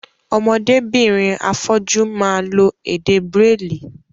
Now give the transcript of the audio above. Ọmọdé birin afọ́jú máa lo èdè bráìlì.